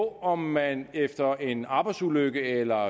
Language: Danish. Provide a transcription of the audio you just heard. om man efter en arbejdsulykke eller